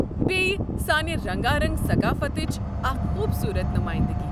بییٚہِ، سانہِ رنگارنگ ثقافتٕچ اکھ خوبصوٗرت نُمٲیِندگی.